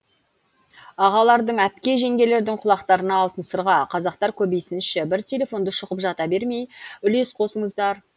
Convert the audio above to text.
ағалардың әпке жеңгелердің құлақтарына алтын сырға қазақтар көбейсінші бір телефонды шұқып жата бермей үлес қосыңыздар